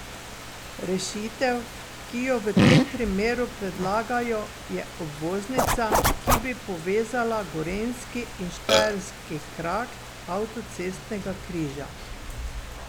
Rešitev, ki jo v tem primeru predlagajo, je obvoznica, ki bi povezala gorenjski in štajerski krak avtocestnega križa.